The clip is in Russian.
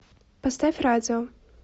поставь радио